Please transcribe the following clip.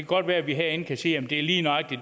godt være vi herinde kan sige lige nøjagtig